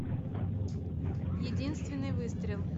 единственный выстрел